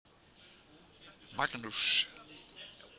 Magnús